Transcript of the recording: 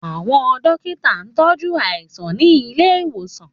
Àwọn dókítà ń tọ jú aláìsàn ní ilé ìwòsàn